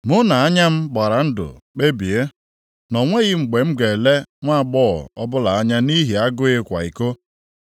“Mụ na anya m gbara ndụ kpebie na o nweghị mgbe m ga-ele nwaagbọghọ ọbụla anya nʼihi agụụ ịkwa iko. + 31:1 Maọbụ, anya ọjọọ \+xt Mat 5:28\+xt*